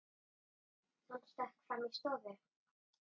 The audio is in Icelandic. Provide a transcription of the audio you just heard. Hann stökk fram í stofu.